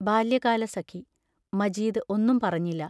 ബാല്യകാലസഖി മജീദ് ഒന്നും പറഞ്ഞില്ല.